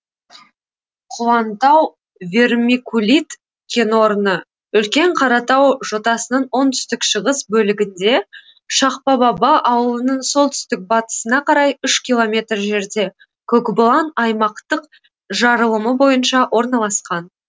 құлантау вермикулит кенорны үлкен қаратау жотасының оңтүстік шығыс бөлігінде шақпабаба ауылынан солтүстік батысыңа карай үш километр жерде көкбұлан аймақтық жарылымы бойынша орналасқан